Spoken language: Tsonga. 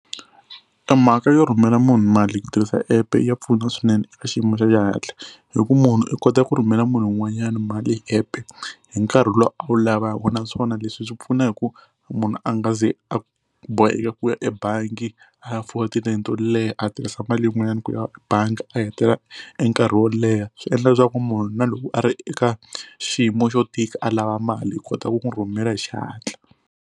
E mhaka yo rhumela munhu mali hi ku tirhisa epe ya pfuna swinene eka xiyimo xa xihatla. Hi ku munhu i kota ku rhumela munhu wun'wanyana mali epe hi nkarhi lowu a wu lavaka naswona leswi swi pfuna hi ku munhu a nga ze a boheka ku ya ebangi a ya fola tilayini to leha a tirhisa mali yin'wanyana ku ya bangi a heta e nkarhi wo leha, swi endla leswaku munhu na loko a ri eka xiyimo xo tika a lava mali hi kota ku n'wi rhumela hi xihatla.